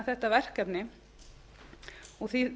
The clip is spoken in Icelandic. þetta verkefni og því